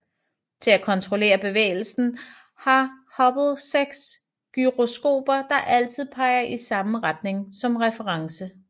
Til at kontrollere bevægelsen har Hubble seks gyroskoper der altid peger i samme retninger som reference